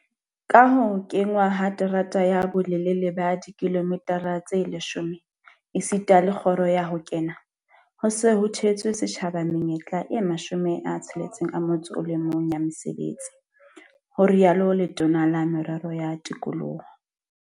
Ka ho kenngwa ha terata ya bolelele ba dikilomitara tse 10 esita le kgoro ya ho kena, ho se ho theetswe setjhaba menyetla e 61 ya mesebetsi, ho itsalo Letona la Merero ya Tikoloho.